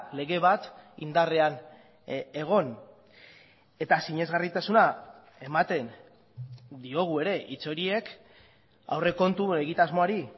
lege bat indarrean egon eta sinesgarritasuna ematen diogu ere hitz horiek aurrekontu egitasmoari